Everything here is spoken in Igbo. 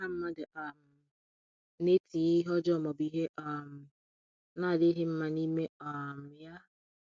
Ọ̀ha Ọ̀ha mmadụ um na-etinye ihe ọjọọ ma ọ bụ ihe um na-adịghị mma n’ime um ya?